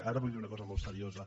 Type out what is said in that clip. ara vull dir una cosa molt seriosa